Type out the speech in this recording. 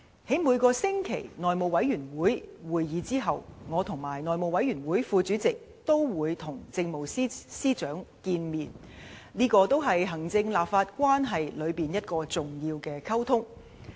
在每個星期內務委員會會議後，我和內務委員會副主席均會與政務司司長見面，這也是行政立法關係中一個重要的溝通。